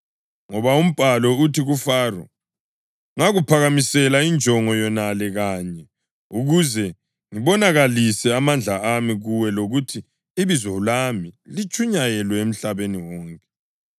Ngoba umbhalo uthi kuFaro, “Ngakuphakamisela injongo yonale kanye, ukuze ngibonakalise amandla ami kuwe lokuthi ibizo lami litshunyayelwe emhlabeni wonke.” + 9.17 U-Eksodasi 9.16